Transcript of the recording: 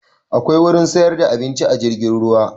A akwai gurin siyar da abinci a jirgin ruwa